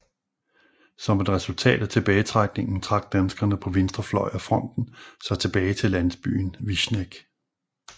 Som et resultat af tilbagetrækningen trak danskerne på venstre fløj af fronten sig tilbage til landsbyen Višneg